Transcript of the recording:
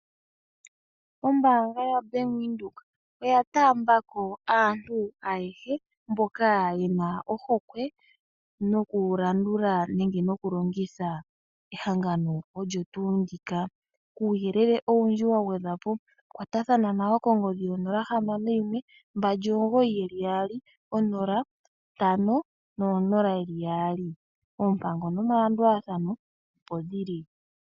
Ombaanga ya Bank Windhoek oya taambako aantu ayehe, mboka yena ohokwe noku landula nenge nokulongitha ehangano olyo tuu ndika. Kuuyelele owundji, wagwedhwapo kwatathana nayo kongodhi yo 0612990500. Oompango nomalandulathano opo dhili.